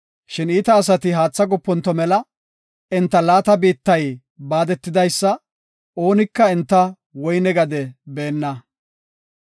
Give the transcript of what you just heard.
“Shin iita asati haatha goponto mela; enta laata biittay baadetidaysa; oonika enta woyne gade beenna.